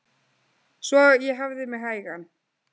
Svo ég hafði mig hægan.